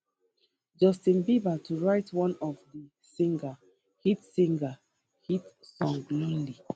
justin bieber to write one of di singer hit singer hit song lonely